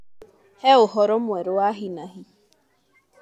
He ũhoro mwerũ wa hinahi